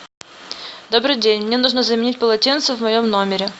добрый день мне нужно заменить полотенце в моем номере